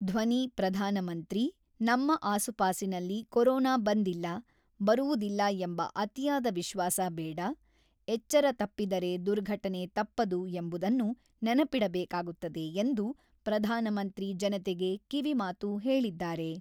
ಧ್ವನಿ ಪ್ರಧಾನ ಮಂತ್ರಿ ನಮ್ಮ ಆಸುಪಾಸಿನಲ್ಲಿ ಕೊರೋನಾ ಬಂದಿಲ್ಲ, ಬರುವುದಿಲ್ಲ ಎಂಬ ಅತಿಯಾದ ವಿಶ್ವಾಸ ಬೇಡ, ಎಚ್ಚರ ತಪ್ಪಿದರೆ ದುರ್ಘಟನೆ ತಪ್ಪದು ಎಂಬುದನ್ನು ನೆನಪಿಡಬೇಕಾಗುತ್ತದೆ ಎಂದು ಪ್ರಧಾನಮಂತ್ರಿ ಜನತೆಗೆ ಕಿವಿ ಮಾತು ಹೇಳಿದ್ದಾರೆ.